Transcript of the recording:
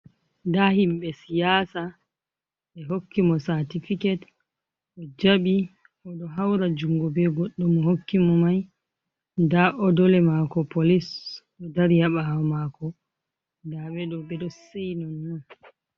Ndaa himɓe siyaasa, ɓe hokki mo saatifiket o jaɓi, o ɗo hawra junngo be goɗɗo mo hokki mo may. Ndaa odole maako polis, ɗo dari haa ɓaawo maako, ndaa ɓe ɗo seyi nonnon.